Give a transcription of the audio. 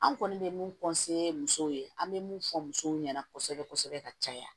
An kɔni bɛ mun muso ye an bɛ mun fɔ musow ɲɛna kosɛbɛ kosɛbɛ ka caya